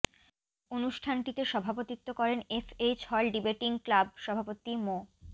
অনুষ্ঠানটিতে সভাপতিত্ব করেন F H hall debating club সভাপতি মো